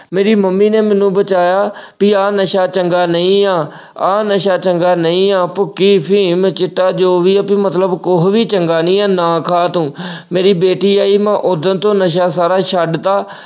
ਮੇਰੀ ਮੰਮੀ ਨੇ ਮੈਨੂੰ ਬਚਾਇਆ ਵੀ ਆ ਨਸ਼ਾ ਚੰਗਾ ਨਹੀਂ ਆ, ਆ ਨਸ਼ਾ ਚੰਗਾ ਨਹੀਂ ਆ ਭੁੱਕੀ, ਅਫ਼ੀਮ, ਚਿੱਟਾ ਜੋ ਵੀ ਆ ਕਿ ਮਤਲਬ ਕੁੱਝ ਵੀ ਚੰਗਾ ਨਹੀਂ ਆ ਨਾ ਖਾ ਤੂੰ ਅਹ ਮੇਰੀ ਬੇਟੀ ਆਈ ਮੈਂ ਉਸ ਦਿਨ ਤੋਂ ਨਸ਼ਾ ਸਾਰਾ ਛੱਡ ਤਾ।